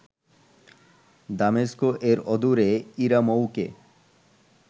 দামেস্ক এর অদূরে ইরামৌক-এ